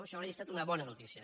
això hauria estat una bona notícia